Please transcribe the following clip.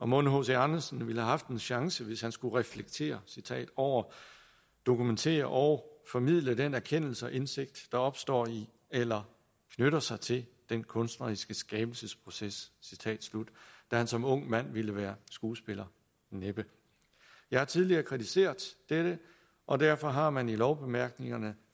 mon hc andersen ville have haft en chance hvis han skulle reflektere over og dokumentere og formidle den erkendelse og indsigt der opstår i eller knytter sig til den kunstneriske skabelsesproces da han som ung mand ville være skuespiller næppe jeg har tidligere kritiseret dette og derfor har man i lovbemærkningerne